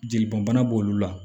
Jeli bɔn bana b'olu la